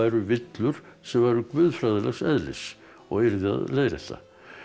villur sem væru guðfræðilegs eðlis og yrði að leiðrétta